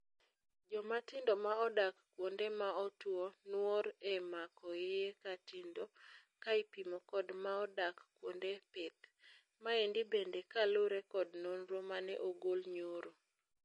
Jomatindo ma odak kuonde maotuo nuor e mako iye katindo kaipimo kod maodak kuende pith. Maendi bende kalure kod nonro mane ogol nyoro.